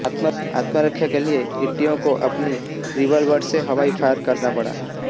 आत्मरक्षा के लिए ईटीओ को अपनी रिवॉल्वर से हवाई फायर करना पड़ा